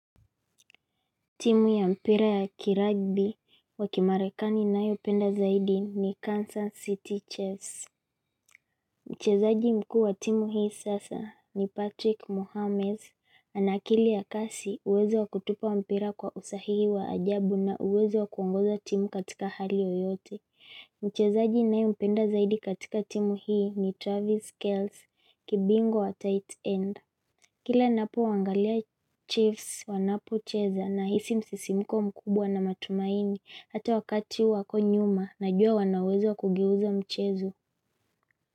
Timu ya mpira ya kiragbi wakimarekani nayo penda zaidi ni Kansas City Chiefs Mchezaaji mkuu wa timu hii sasa ni Patrick Mohamed Anakili ya kasi uwezo wakutupa mpira kwa usahihi wa ajabu na uwezo wakuongoza timu katika hali yoyote Mchezaaji ninaye mpenda zaidi katika timu hii ni Travis Kells kibingwa wa tight end Kila ninapo waangalia chiefs wanapo cheza na hisi msisimko mkubwa na matumaini hata wakati wako nyuma na jua wanawezo kugeuzo mchezo.